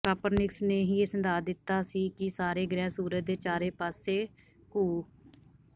Copernicus ਨੇ ਹੀ ਇਹ ਸਿਧਾਂਤ ਦਿੱਤਾ ਸੀ ਕਿ ਸਾਰੇ ਗ੍ਰਹਿ ਸੂਰਜ ਦੇ ਚਾਰੇ ਪਾਸੇ ਘੁੰ